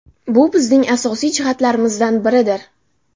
Bu bizning asosiy jihatlarimizdan biridir.